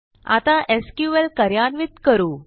आता SQLकार्यान्वित करू